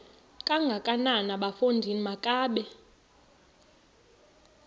kangakanana bafondini makabe